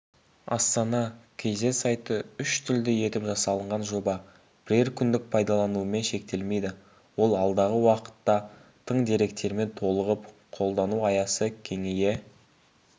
астана кз сайты үш тілді етіп жасалынған жоба бірер күндік пайдаланумен шектелмейді ол алдағы уақытта тың деректермен толығып қолдану аясы кеңейе